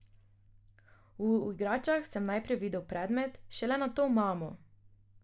V igračah sem videl najprej predmet, šele nato mamo.